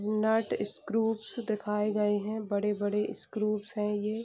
नट screw दिखाए गए हैं बड़े-बड़े स्क्रूप हैं ये|